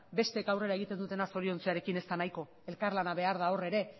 besteek aurrera egiten dutena zoriontzearekin ez da nahiko elkarlana behar da hor ere